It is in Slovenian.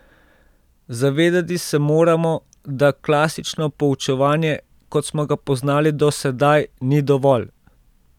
Zavedati se moramo, da klasično poučevanje, kot smo ga poznali do sedaj, ni dovolj.